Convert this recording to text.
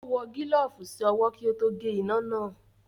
Ó wọ gílọ̀ọ̀fù sí ọwọ́ kí ó tó gé iná náà